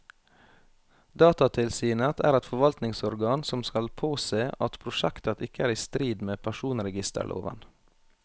Datatilsynet er et forvaltningsorgan som skal påse at prosjektet ikke er i strid med personregisterloven.